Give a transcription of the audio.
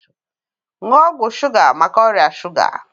Nuo ọgwụ shuga maka ọrịa shuga